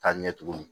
Ka ɲɛ tugun